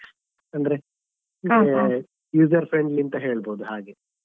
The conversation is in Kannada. ಅಂದ್ರೆ ಮತ್ತೆ user friendly ಅಂತ ಹೇಳ್ಬೋದು ಹಾಗೆ.